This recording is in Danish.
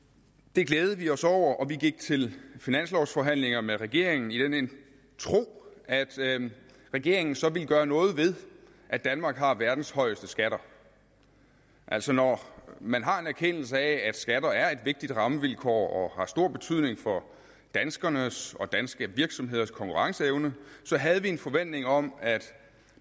det glædede vi os over og vi gik til finanslovforhandlinger med regeringen i den tro at regeringen så ville gøre noget ved at danmark har verdens højeste skatter altså når man har en erkendelse af at skatter er et vigtigt rammevilkår og har stor betydning for danskernes og danske virksomheders konkurrenceevne så havde vi en forventning om at